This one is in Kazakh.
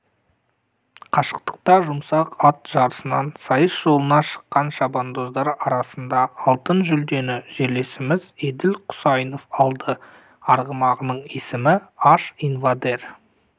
қашықтықта жұмсақ ат жарысынан сайыс жолына шыққан шабандоздар арасында алтын жүлдені жерлесіміз еділ құсайынов алды арғымағының есімі аш инвадер